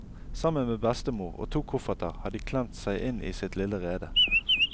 Sammen med bestemor og to kofferter har de klemt seg inn i sitt lille rede.